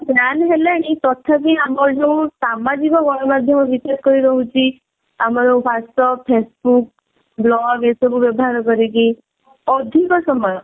ban ହେଲାଣି ତଥାପି ଆମର ଯୋଉ ସାମାଜିକ ଗଣମାଧ୍ୟମ ବିଶେଷ କରି ରହୁଛି ଆମର whatsapp facebook vlog ଏସବୁ ବ୍ୟବହାର କରିକି ଅଧିକ ସମୟ